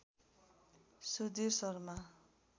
Sudhir Sharma